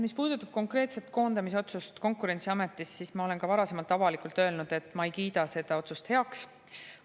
Mis puudutab konkreetset koondamisotsust Konkurentsiametis, siis ma olen ka varasemalt avalikult öelnud, et ma ei kiida seda otsust heaks.